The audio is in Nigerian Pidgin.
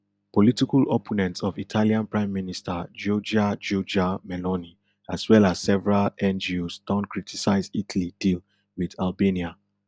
political opponents of italian prime minister giorgia giorgia meloni as well as several ngos don criticise italy deal wit albania